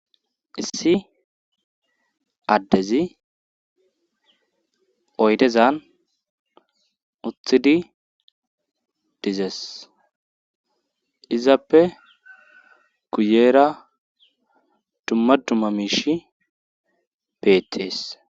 Issi addezi oydezan uthidi dizes izappe kuyeera dummaduma miish peettees.